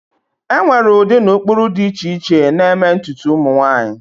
enwere ụdị na ụkpụrụ dị iche iche na-eme ntutu ụmụ nwanyị